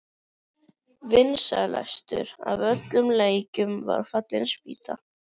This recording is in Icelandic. Þó var hann auðvitað óafsakanlega sjarmerandi, karlinn.